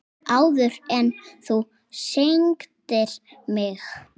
Áður en þú signdir mig.